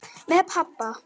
Með pabba.